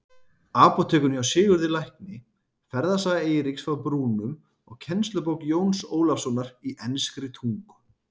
Apótekinu hjá Sigurði lækni, Ferðasaga Eiríks frá Brúnum og kennslubók Jóns Ólafssonar í enskri tungu.